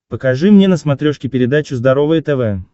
покажи мне на смотрешке передачу здоровое тв